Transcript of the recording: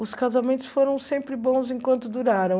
Os casamentos foram sempre bons enquanto duraram.